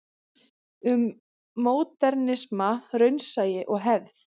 Um módernisma, raunsæi og hefð.